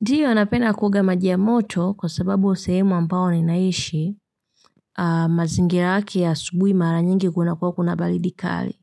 Ndiyo napenda kuoga maji ya moto kwa sababu sehemu ampayo ninaishi mazingira yake ya asubuhi mara nyingi kunakuwa kuna baridi kali.